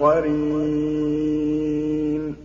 قَرِينٌ